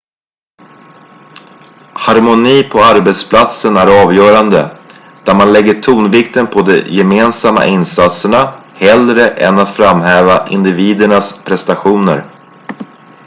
harmoni på arbetsplatsen är avgörande där man lägger tonvikten på de gemensamma insatserna hellre än att framhäva individernas prestationer